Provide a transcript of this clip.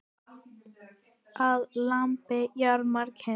Að lambi jarmar kind.